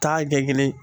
Taa kɛ kelen ye